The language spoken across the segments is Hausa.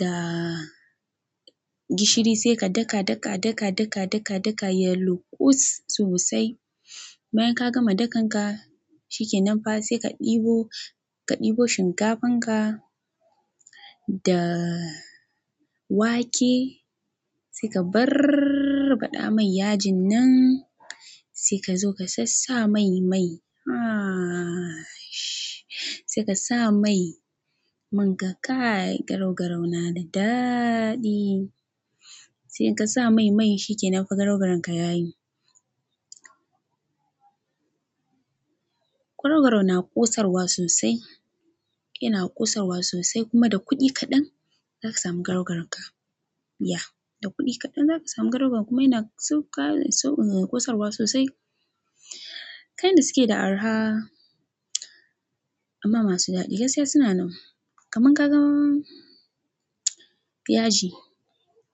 da gishiri sai ka daka, daka, daka, daka, daka, daka yayi luƙus sosai. Bayan ka gama dakan ka shi ke nanfa sai ka ɗibo, ka ɗibo shinkafan ka da wake sai ka barɓaɗa mai yajin nan sai ka zo ka sassa mai, mai. Ahh sh. Sai ka sa mai mun ga kai garau-garau na da daɗi. Sai ka sa mai, mai shi ke nufin garau-garan ka yayi. Garau-garau na ƙosarwa sosai, yana ƙosarwa sosai kuma da kuɗi kaɗan zaka samu garau-garau ka. Yeah, da kuɗi kaɗan zaka samu garau-garau kuma yana sauka, ƙosarwa sosai. Kayin da suke da arha amma masu daɗi gaskiya suna nan. Kaman ka gama yaji,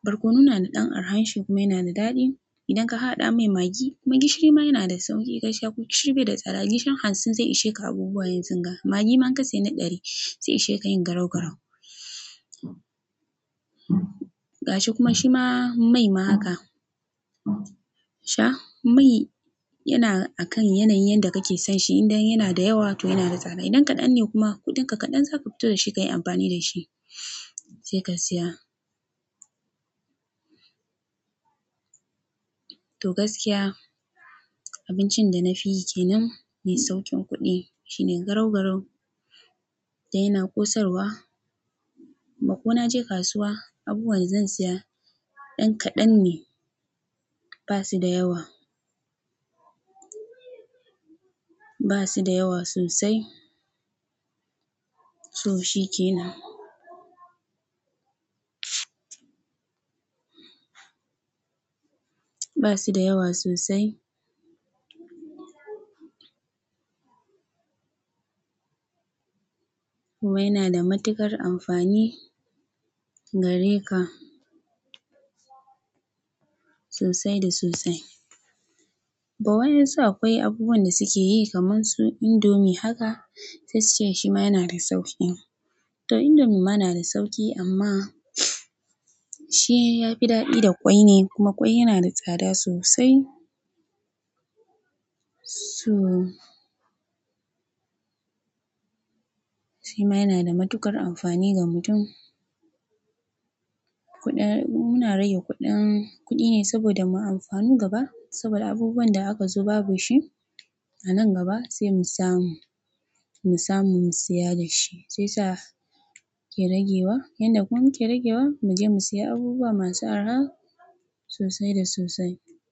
barkonon na da ɗan arha shi kuma yana da daɗi. Idan ka haɗa mai magi kuma gishiri ma yana da sauƙi gaskiya ko gishiri bai da tsada gishirin hansin sai ishe ka abubuwa yanzunga. Magi man ka sai na ɗari sai ishe ka yi garau-garau. Gashi kuma shima mai ma haka. Sha mai yana akan yanayin yanda kake son shi idan yana da yawa to yana da tsada idan kaɗan ne kuma kuɗinka kaɗan zaka fito da shi ka yi amfani da shi sai ka siya. To gaskiya abincin da na fi kenan mai sauƙin kuɗi shine garau-garau da yana ƙosarwa. Makona je kasuwa abubuwan zan siya ɗan kaɗan ne ba su da yawa. Ba su da yawa sosai. To shi kenan. Ba su da yawa sosai. Kuma yana da matuƙar amfani gare ka sosai da sosai. Ba wani yanzu akwai abubuwan da suke yi kaman su indomie haka sai su ce shi ma yana da sauƙi. To indomie ma na da sauƙi amma shi ya fi daɗi da ƙwai ne kuma ƙwai yana da tsada sosai. So shi ma yana da matuƙar amfani ga mutum. Kuɗin muna raye kuɗin, kuɗi ne saboda mu yi amfani gaba saboda abubuwan da aka zuba ba shi a nan gaba sai mu samu, mu samu mu siya da shi sai sa ke ragewa yanda kuma yake ragewa mu je mu siya abubuwa masu arha sosai da sosai.